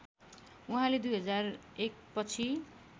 उहाँले २००१ पछि